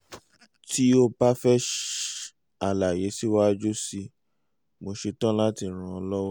tí o bá fẹ́ àlàyé síwájú sí i mo ṣe tán láti ràn ọ́ lọ́wọ́